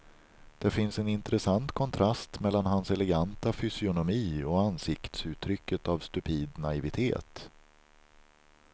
Det finns en intressant kontrast mellan hans eleganta fysionomi och ansiktsuttrycket av stupid naivitet.